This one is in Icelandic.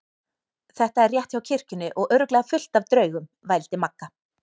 Þetta er rétt hjá kirkjunni og örugglega fullt af draugum. vældi Magga.